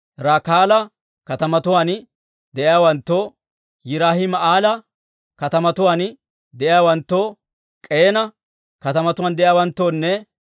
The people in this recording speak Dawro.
Rakaala katamatuwaan de'iyaawanttoo, Yiraahima'eela katamatuwaan de'iyaawanttoo, K'eena katamatuwaan de'iyaawanttoonne,